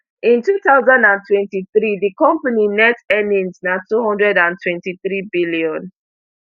in two thousand and twenty-three di company net earnings na two hundred and twenty-threebn